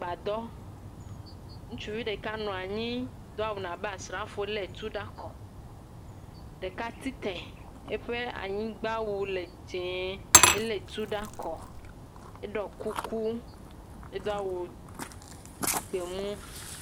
Gbadɔ, ŋutsuvi ɖeka nɔ anyi do awu abe asrafo lé tu ɖe akɔ, ɖeka tsitre eƒe anyigbawu le dzɛ elé tu ɖe akɔ, eɖɔ kuku edo awu gbemu.